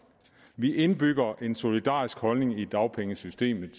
vi indbygger en solidarisk holdning i dagpengesystemet